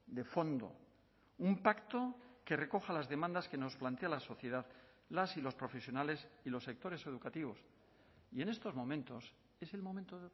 de fondo un pacto que recoja las demandas que nos plantea la sociedad las y los profesionales y los sectores educativos y en estos momentos es el momento